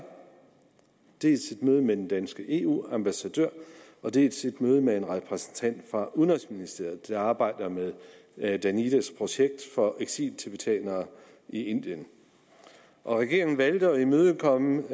dels et møde med den danske eu ambassadør dels et møde med en repræsentant for udenrigsministeriet der arbejder med med danidas projekt for eksiltibetanere i indien regeringen valgte at imødekomme